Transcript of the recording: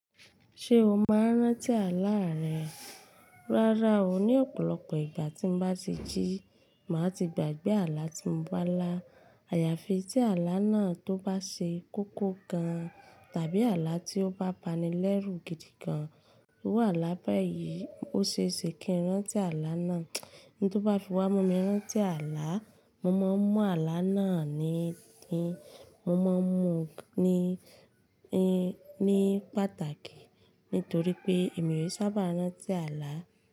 Ṣé o máa ń rántí àlá rẹ? Rárá o, ní ọ̀pọ̀lọpọ̀ ìgbà tí mo bá ti jí, màá ti gbàgbé àlá tí mo bá lá. Àyàfi tí àlá náà tó bá ṣe kókó gan-an tàbí àlá tí ó bá bani lẹ́rù gidi gan-an. Iru álà baayí, ó ṣe é ṣe kí n rántí àlá náà. Ohun tó bá fi wá mú mi rán tí àlá, mo máa ń mú àlá náà ni ẹ̀yìn, mo máa ń mú ní, ní, ní pàtàkì. Nítorí pé èmi ò sábà rán tí àlá.